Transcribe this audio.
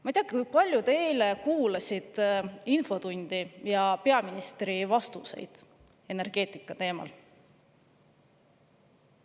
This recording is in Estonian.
Ma ei tea, kui palju te eile kuulasite infotundi ja peaministri vastuseid energeetikateemal.